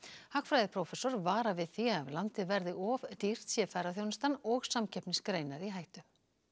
hagfræðiprófessor varar við því að ef landið verði of dýrt sé ferðaþjónustan og samkeppnisgreinar í hættu